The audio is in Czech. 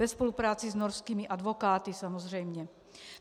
Ve spolupráci s norskými advokáty samozřejmě.